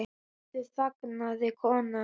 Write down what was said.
Aftur þagnaði konan.